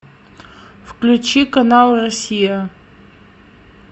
включи канал россия